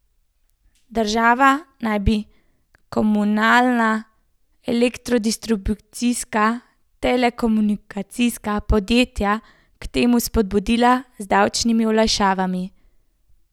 Država naj bi komunalna, elektrodistribucijska, telekomunikacijska podjetja k temu spodbudila z davčnimi olajšavami.